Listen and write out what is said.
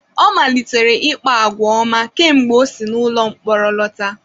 Ọ malitere ịkpa àgwà ọma kemgbe o si n’ụlọ mkpọrọ lọta.